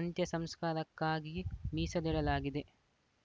ಅಂತ್ಯಸಂಸ್ಕಾರಕ್ಕಾಗಿಯೇ ಮೀಸಲಿಡಲಾಗಿದೆ